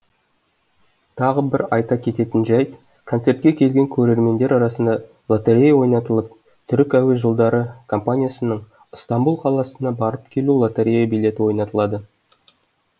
тағы бір айта кететін жәйт концертке келген көрермендер арасында лоторея ойнатылып түрік әуе жолдары компаниясының ыстамбұл қаласына барып келу лоторея билеті ойнатылады